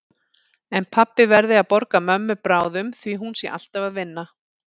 En pabbi verði að borga mömmu bráðum því hún sé alltaf að vinna.